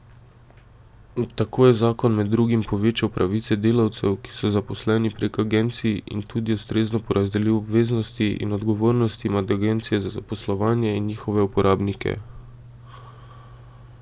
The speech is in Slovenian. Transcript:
Tako je zakon med drugim povečal pravice delavcev, ki so zaposleni prek agencij, in tudi ustrezno porazdelil obveznosti in odgovornosti med agencije za zaposlovanje in njihove uporabnike.